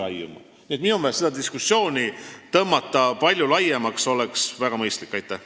Minu meelest oleks väga mõistlik see diskussioon palju laiemaks tõmmata.